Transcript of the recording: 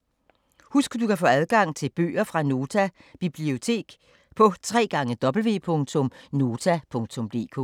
Husk at du kan få adgang til bøger fra Nota Bibliotek på www.nota.dk